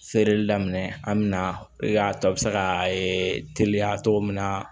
Feereli daminɛ an mɛ na i k'a to a bɛ se ka teliya cogo min na